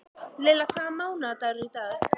Lily, hvaða mánaðardagur er í dag?